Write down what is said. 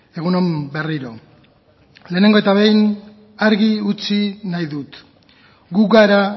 egun on berriro lehenengo eta behin argi utzi nahi dut gu gara